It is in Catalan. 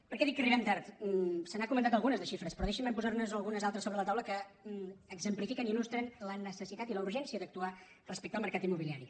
per què dic que arribem tard se n’han comentat algunes de xifres però deixinme posarne algunes altres sobre la taula que exemplifiquen i il·lustren la necessitat i la urgència d’actuar respecte al mercat immobiliari